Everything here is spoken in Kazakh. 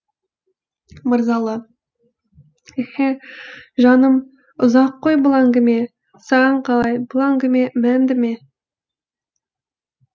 мырзалы еһе жаным ұзақ қой бұл әңгіме саған қалай бұл әңгіме мәнді ме